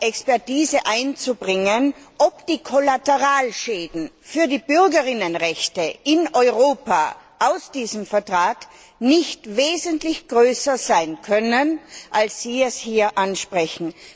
Expertise einzubringen, ob die Kollateralschäden für die Bürger und Bürgerinnenrechte in Europa aus diesem Vertrag nicht wesentlich größer sein können, als Sie es hier ansprechen.